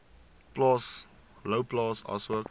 plaas louwplaas asook